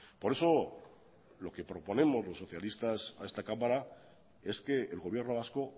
por eso lo que proponemos los socialistas a esta cámara es que el gobierno vasco